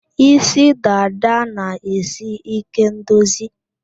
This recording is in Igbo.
Isí dada na-esi ike ndozi